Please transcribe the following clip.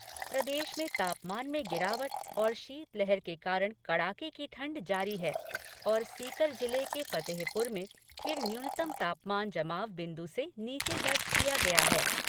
प्रदेश में तापमान में गिरावट और शीतलहर के कारण कड़ाके की ठंड जारी हैं और सीकर जिले के फतेहपुर में फिर न्यूनतम तापमान जमाव बिन्दु से नीचे दर्ज किया गया है।